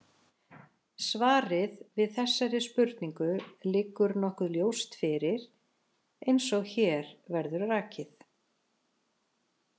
Svarið við þessari spurningu liggur nokkuð ljóst fyrir, eins og hér verður rakið.